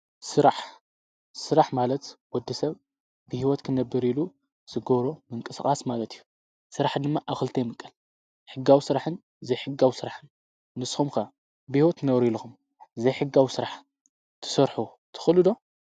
ስራሕ፣ ስራሕ ማለት ወዲ ሰብ ብሕይወት ክነብር ኢሉ ዝጐብሮም ምንቀስቓስ ማለት እዩ። ስራሕ ድማ ኣብ ኽልቲ ይምቀል ሕጋው ስራሕን፣ ዘይሕጋው ስራሕን። ንስኹም ከ ብሕይወት ክትነብሩ ኢለኹም ዘይሕጋዊ ስራሕ ትሰርሑ ትኽሉ ዶ?